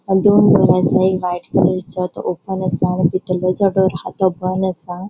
Hatun white कलरचो तो open असा भितल्लो जो डोर हा तो बॉन असा.